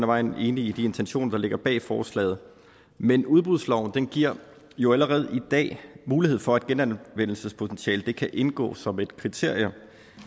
vejen enige i de intentioner der ligger bag forslaget men udbudsloven giver jo allerede i dag mulighed for at genanvendelsespotentiale kan indgå som et kriterium